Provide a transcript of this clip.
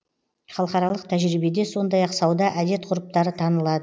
халықаралық тәжірибеде сондай ақ сауда әдет ғұрыптары танылады